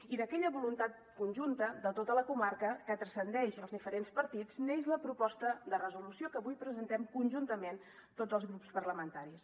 i d’aquella voluntat conjunta de tota la comarca que transcendeix els diferents partits neix la proposta de resolució que avui presentem conjuntament tots els grups parlamentaris